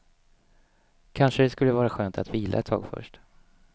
Kanske det skulle vara skönt att vila ett tag först.